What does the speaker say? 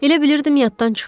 Elə bilirdim yaddan çıxıb.